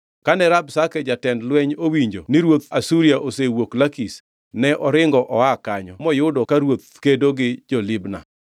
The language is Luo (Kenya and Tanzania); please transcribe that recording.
Kane Rabshake jatend lweny owinjo ni ruodh Asuria osewuok Lakish, ne oringo oa kanyo moyudo ka ruoth kedo gi jo-Libna.